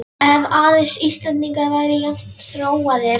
Ef aðeins Íslendingar væru jafn þróaðir!